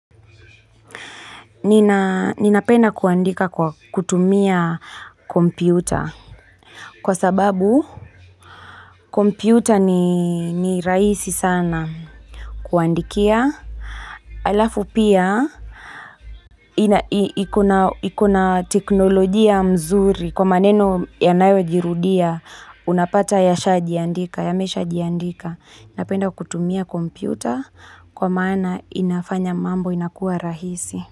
Ninapenda kuandika kwa kutumia kompyuta. Kwa sababu, kompyuta ni rahisi sana. Kuandikia. Alafu pia, iko na teknolojia mzuri. Kwa maneno yanayojirudia, unapata yashajandika, yameshajiandika. Napenda kutumia kompyuta, kwa maana inafanya mambo, inakuwa rahisi.